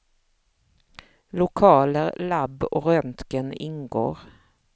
Lokaler, lab och röntgen ingår.